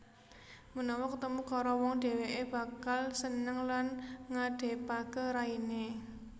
Menawa ketemu karo wong dheweke bakal seneng lan ngadepake raine